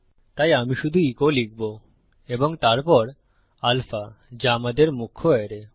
তাই আমি শুধু ইকো লিখব এবং তারপর আলফা যা আমাদের মুখ্য অ্যারে